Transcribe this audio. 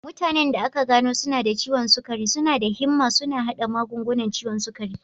Mutanen da aka gano suna da ciwon sukari suna da himma suna haɗa magungunan ciwon sukari.